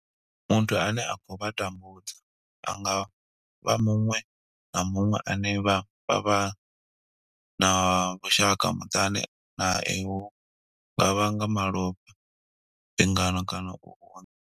Muthu ane a khou vha tambudza a nga vha muṅwe na muṅwe ane vha vha na vhushaka muṱani nae hu nga vha nga malofha, mbingano kana u unḓa.